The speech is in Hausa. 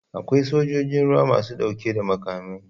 Akwai sojojin ruwa masu dauke da makamai.